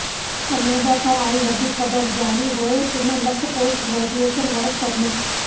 Canada ਤੋਂ ਆਈ ਵੱਡੀ ਖ਼ਬਰ ਜਾਰੀ ਹੋਏ ਇੰਨੇ lakh post graduation work permit